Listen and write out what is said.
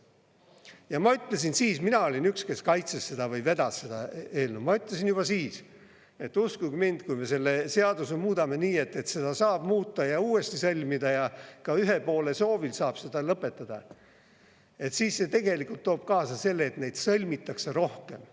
Ja ma ütlesin siis – mina olin üks, kes kaitses seda või vedas seda eelnõu –, ma ütlesin juba siis, et uskuge mind, kui me selle seaduse muudame nii, et saab muuta ja uuesti sõlmida ja ka ühe poole soovil saab seda lõpetada, siis see tegelikult toob kaasa selle, et neid sõlmitakse rohkem.